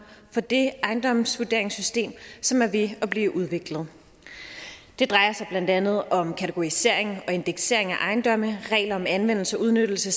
for det ejendomsvurderingssystem som er ved at blive udviklet det drejer sig blandt andet om kategorisering og indeksering af ejendomme regler om anvendelse og udnyttelse